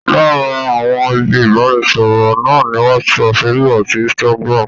Lára àwọn ibi ìbánisọ̀rọ̀ náà ni Whatsapp, Facebook àti Instagram